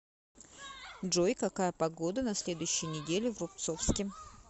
джой какая погода на следующей неделе в рубцовске